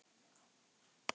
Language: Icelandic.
Það er sárt að sakna.